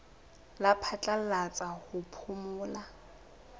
la phatlalatsa la ho phomola